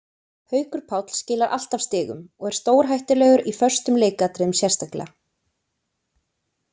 Haukur Páll skilar alltaf stigum og er stórhættulegur í föstum leikatriðum sérstaklega.